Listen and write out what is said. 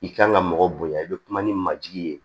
I kan ka mɔgɔ bonya i bɛ kuma ni majigi ye